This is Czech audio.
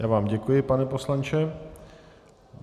Já vám děkuji, pane poslanče.